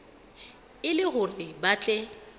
e le hore ba tle